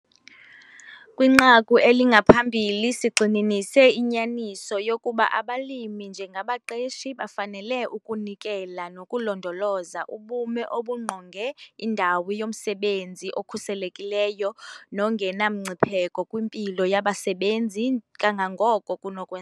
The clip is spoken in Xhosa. Kwinqaku elingaphambili sigxininise inyaniso yokuba abalimi njengabaqeshi bafanele ukunikela nokulondoloza ubume obungqonge indawo yomsebenzi obukhuselekileyo nobungenamngcipheko kwimpilo yabasebenzi kangangoko kunokwe